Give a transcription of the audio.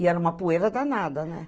E era uma poeira danada, né?